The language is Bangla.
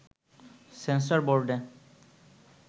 সেন্সর বোর্ডে